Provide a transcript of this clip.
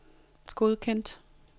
godkendt